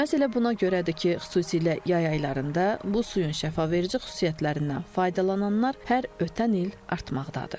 Məhz elə buna görədir ki, xüsusilə yay aylarında bu suyun şəfaveverici xüsusiyyətlərindən faydalananlar hər ötən il artmaqdadır.